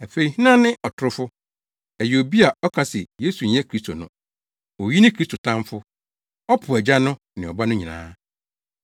Afei hena ne ɔtorofo? Ɛyɛ obi a ɔka se Yesu nyɛ Kristo no. Oyi ne Kristo tamfo. Ɔpo Agya no ne Ɔba no nyinaa.